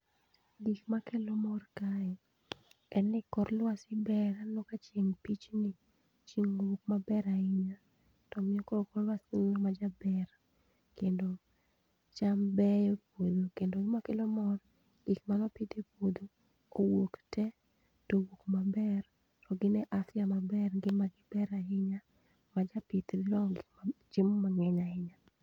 Gik makelo mor kae en ni kor lwasi ber, aneno ka chieng' pichni, chieng' owuok maber ahinya. To nyako olwakum ma jaber kendo cham beyo e puodho. Kendo cham beyo e puodho, kendo ma kelo mor, gik manopidh e puodho owuok te. Towuok maber, to gin e afia maber, ngima gi ber ahinya, ma japith didwar gi ko chiemo mang'eny ahinya.